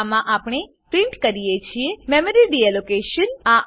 આમાં આપણે પ્રીંટ કરીએ છીએ મેમરી ડીલોકેશન મેમરી ડીએલોકેશન